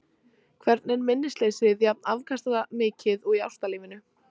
Hvergi er minnisleysið jafn afkastamikið og í ástarlífinu.